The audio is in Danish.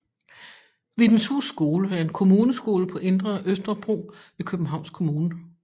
Vibenshus Skole er en kommuneskole på Indre Østerbro i Københavns Kommune